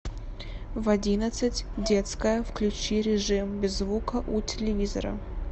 в одиннадцать детская включи режим без звука у телевизора